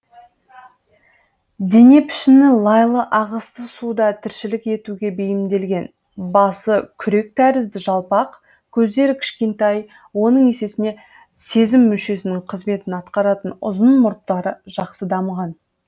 дене пішіні лайлы ағысты суда тіршілік етуге бейімделген басы күрек тәрізді жалпақ көздері кішкентай оның есесіне сезім мүшесінің қызметін атқаратын ұзын мұрттары жақсы дамыған